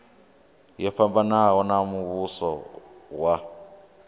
yo fhambanaho ya muvhuso wa